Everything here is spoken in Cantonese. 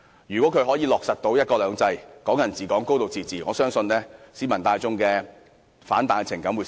如果"一國兩制"、"港人治港"、"高度自治"得以落實，我相信市民大眾的反彈情感將會減少。